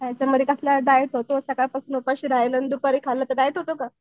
याच्यामध्ये कसला डाएट होतो सकाळपासून आणि दुपारी खाणं ते डाएट होतो का?